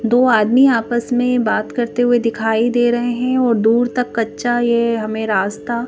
दो आदमी आपस में बात करते हुए दिखाई दे रहे हैं और दूर तक कच्चा ये हमें रास्ता--